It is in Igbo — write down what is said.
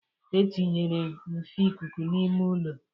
E tinyere nfe ikuku n'ime ụlọ.